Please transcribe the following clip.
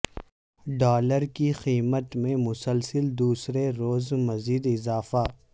dollar کی قیمت میں مسلسل دوسرے روز مزید اضافہ